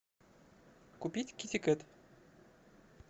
купить китикет